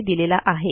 यांनी दिलेला आहे